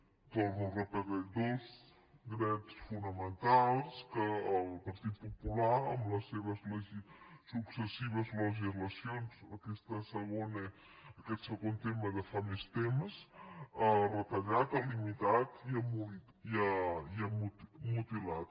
ho torno a repetir dos drets fonamentals que el partit popular amb les successives legislacions aquest segon tema de fa més temps ha retallat ha limitat i ha mutilat